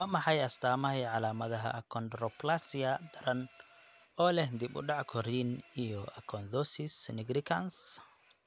Waa maxay astaamaha iyo calaamadaha achondroplasia daran oo leh dib u dhac korriin iyo acanthosis nigricans?